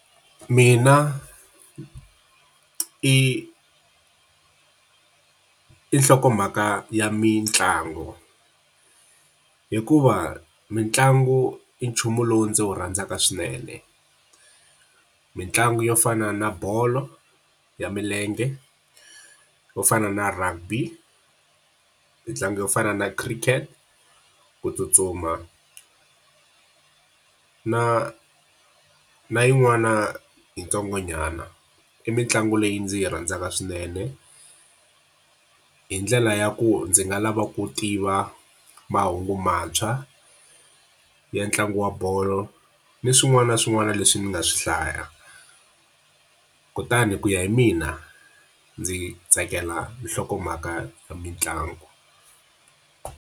Mina i i i nhlokomhaka ya mitlangu. Hikuva mitlangu i nchumu lowu ndzi wu rhandzaka swinene. Mintlangu yo fana na bolo ya milenge, yo fana na rugby, mitlangu yo fana na cricket, ku tsutsuma, na na yin'wani yintsongonyana. I mitlangu leyi ndzi yi rhandzaka swinene, hi ndlela ya ku ndzi nga lava ku tiva mahungu mantshwa ya ntlangu wa bolo ni swin'wana na swin'wana leswi ni nga swi hlaya. Kutani ku ya hi mina, ndzi tsakela nhlokomhaka ya mitlangu.